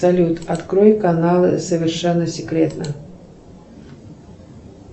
салют открой каналы совершенно секретно